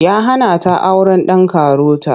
Ya hana ta auren ɗan karota.